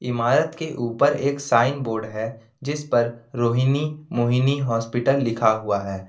इमारत के ऊपर एक साइन बोर्ड है जिसपर रोहिणी मोहिनी हॉस्पिटल लिखा हुआ है।